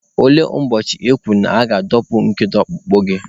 Olee ụbọchị e kwuru na aga-atọpụ nkedo ọkpụkpụ gị?